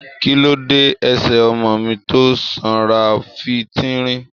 Kí ló dé ẹsẹ ọmọ mi tó sanra fi tínrín?